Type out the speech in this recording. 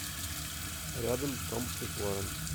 рядом том и флоранс